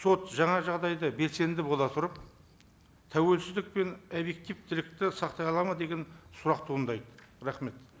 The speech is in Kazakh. сот жаңа жағдайда белсенді бола тұрып тәуелсіздік пен объективтілікті сақтай алады ма деген сұрақ туындайды рахмет